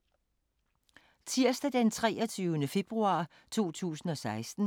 Tirsdag d. 23. februar 2016